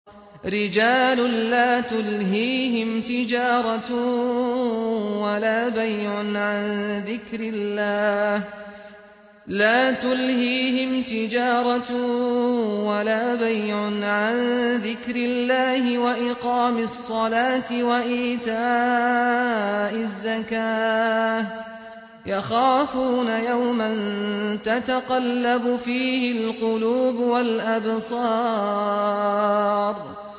رِجَالٌ لَّا تُلْهِيهِمْ تِجَارَةٌ وَلَا بَيْعٌ عَن ذِكْرِ اللَّهِ وَإِقَامِ الصَّلَاةِ وَإِيتَاءِ الزَّكَاةِ ۙ يَخَافُونَ يَوْمًا تَتَقَلَّبُ فِيهِ الْقُلُوبُ وَالْأَبْصَارُ